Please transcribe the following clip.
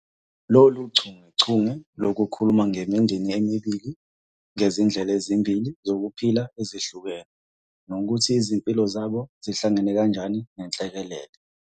Lolu chungechunge lukhuluma ngemindeni emibili ngezindlela ezimbili zokuphila ezihlukene nokuthi izimpilo zabo zihlangana kanjani nenhlekelele.